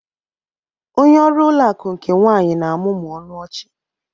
onye ọrụ ụlọ akụ nke nwanyị na-amụmụ ọnụ ọchị